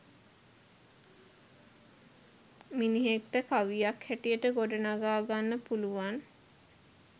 මිනිහෙක්ට කවියක් හැටියට ගොඩනඟා ගන්න පුළුවන්.